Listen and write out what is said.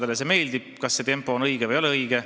Osale see meeldib, on see tempo siis õige või ei ole.